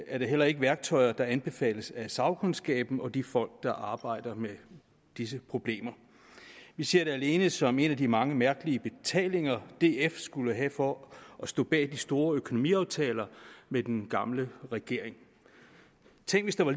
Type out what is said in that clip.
er det heller ikke værktøjer der anbefales af sagkundskaben og af de folk der arbejder med disse problemer vi ser det alene som en af de mange mærkelige betalinger df skulle have for at stå bag de store økonomiaftaler med den gamle regering tænk hvis der var